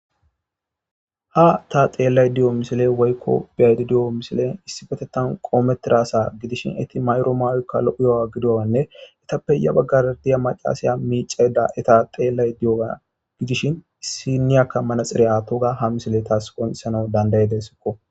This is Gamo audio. ha ta xeellay diyo misile woykko biyaydidiyo misilen issi betettan qoometiraasa gidishin etti mayro maawoykka lo7uyowa gidowanne itappe ya baggardiya macaasaya miiceda eta xeellay diyoa gidishin issiniyakka manaxireya toga ha misile taas qoonsana dandayedesikko